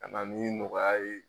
Ka na min nɔgɔya a ye.